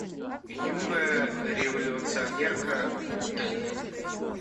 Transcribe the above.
юная революционерка утэна